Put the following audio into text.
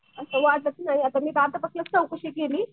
मी आत्तापासनंच चौकशी केली